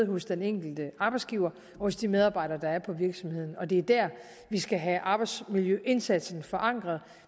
hos den enkelte arbejdsgiver og hos de medarbejdere der er på virksomheden og det er der vi skal have arbejdsmiljøindsatsen forankret og